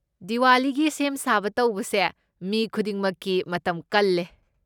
ꯗꯤꯋꯥꯂꯤꯒꯤ ꯁꯦꯝ ꯁꯥꯕ ꯇꯧꯕꯁꯦ ꯃꯤ ꯈꯨꯗꯤꯡꯃꯛꯀꯤ ꯃꯇꯝ ꯀꯜꯂꯦ꯫